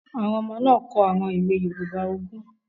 Àwọn ọmọ náà kọ àwọn òwe yoòbá ogún